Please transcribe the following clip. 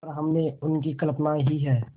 पर हमने उनकी कल्पना ही है